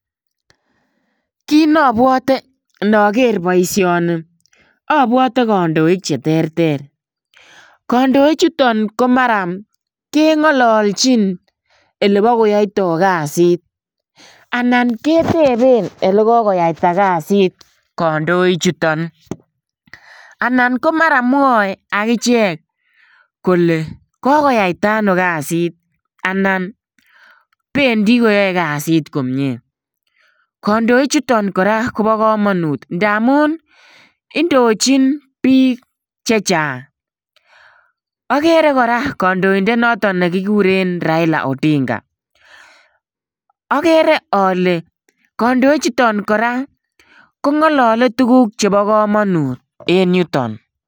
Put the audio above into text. kiit neapwote ngager poishoni. apwate kandoik cheterter, kandoichuto ko mara kengalachin oleipkoyaitai kaasit, anan ketepe olekokoyita kassit kandoik chutok , anan komara mwaiakichek kole kokoyaitano kaasit anan pendi koae kaasit komie kandoik chuton kora kopakamangut amuu indochin piik chechang. agere kora kandoindet notok kikure raila ondinga agere ale kandoik chutok kolngalale ngalek ap kamanut eng yutok.